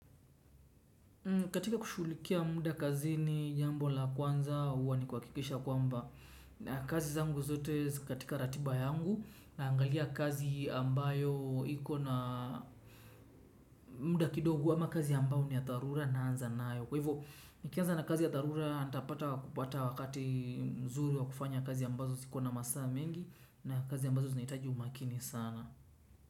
Katika kushughulikia muda kazini jambo la kwanza huwa ni kuhakikisha kwamba na kazi zangu zote katika ratiba yangu naangalia kazi ambayo ikona muda kidogo ama kazi ambayo ni ya dharura naanza nayo. Kwa hivyo nikianza na kazi ya dharura nitapata wakati mzuri wa kufanya kazi ambazo zikona masa mengi na kazi ambazo zinahitaji umakini sana.